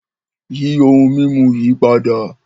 Yí ohun mimú yí pádà!